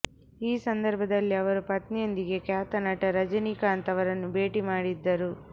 ಈ ಸಂದರ್ಭದಲ್ಲಿ ಅವರು ಪತ್ನಿಯೊಂದಿಗೆ ಖ್ಯಾತ ನಟ ರಜನೀಕಾಂತ್ ಅವರನ್ನು ಭೇಟಿ ಮಾಡಿದ್ದರು